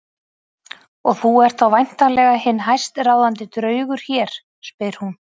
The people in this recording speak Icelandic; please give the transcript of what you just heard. Og þú ert þá væntanlega hinn hæstráðandi draugur hér, spyr hún.